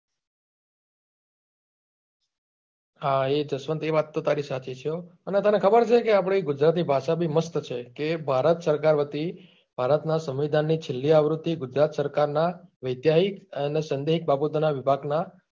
હા જસવંત એ વાત તો તારી સાચી છે હો અને તને ખબર છે કે આપડી ગુજરાતી ભાષા બી મસ્ત છે કે ભારત સરકાર વતી ભારત નાં સંમીધાન ની છેલ્લી આવૃત્તિ ગુજરાત સરકાર ના વાત્યાયિક અને સંદેહિક બગોતારા વિભાગ નાં